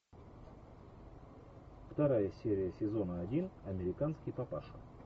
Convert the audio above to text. вторая серия сезона один американский папаша